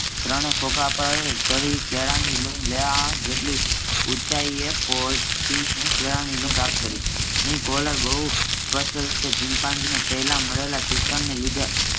ત્રણે ખોખા પર ચડી કેળાંની લૂમ લેવા જેટલી ઊંચાઈએ પહોંચીને કેળાંની લૂમ પ્રાપ્ત કરી. અહીં કોક્યુલર બહુ સ્પષ્ટ રીતે ચિમ્પાન્ઝીને પહેલા મળેલા શિક્ષણને લીધે